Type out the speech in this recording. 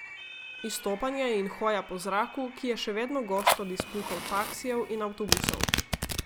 Izstopanje in hoja po zraku, ki je še vedno gost od izpuhov taksijev in avtobusov.